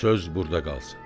Söz burda qalsın.